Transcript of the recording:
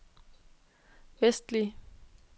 vestlige